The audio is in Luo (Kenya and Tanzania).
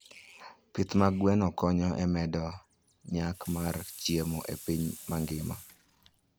Pith mag gwen konyo e medo nyak mar chiemo e piny mangima.